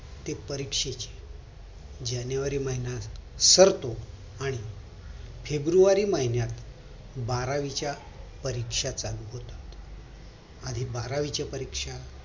ते परीक्षेची जानेवारी महिना सरतो आणि फेब्रुवारी महिन्यात बारावीच्या परीक्षा चालू होतात आणि बारावीच्या परीक्षा